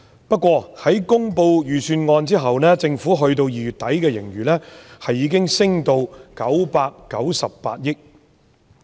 不過，在公布預算案之後，政府2月底公布的盈餘已經上升至998億元。